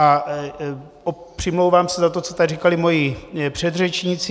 A přimlouvám se za to, co tady říkali moji předřečníci.